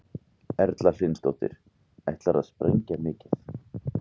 Erla Hlynsdóttir: Ætlarðu að sprengja mikið?